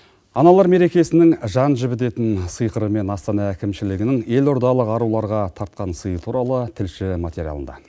аналар мерекесінің жан жібідетін сиқыры мен астана әкімшілігінің елордалық аруларға тартқан сыйы туралы тілші материалында